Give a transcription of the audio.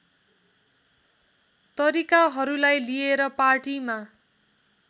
तरिकाहरूलाई लिएर पार्टीमा